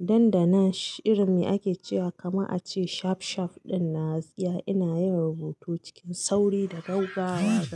Dan dandanan irin me ake cewa kama a ce shaf shaf ɗinnan gaskiya ina yin rubutu cikin sauri da gaugawa.